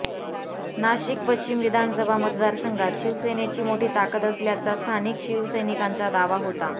नाशिक पश्चिम विधानसभा मतदारसंघात शिवसेनेची मोठी ताकद असल्याचा स्थानिक शिवसैनिकांचा दावा होता